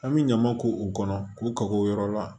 An bɛ ɲama k'o kɔnɔ k'u ka o yɔrɔ la